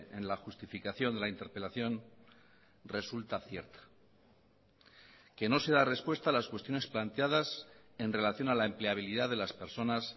en la justificación de la interpelación resulta cierta que no se da respuesta a las cuestiones planteadas en relación a la empleabilidad de las personas